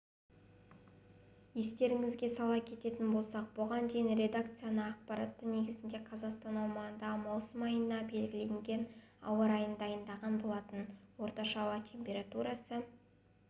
естеріңізге сала кететін болсақ бұған дейін редакциясы ақпараты негізінде қазақстан аумағындағы маусым айына белгіленген ауа райын дайындаған болатын орташа ауа температурасы